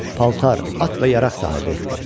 Paltar, at və yaraq sahibi etdi.